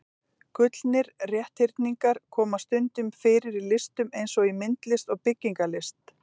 Gullnir rétthyrningar koma stundum fyrir í listum eins og í myndlist og byggingarlist.